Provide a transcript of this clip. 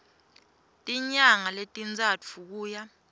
tinyanga letintsatfu kuya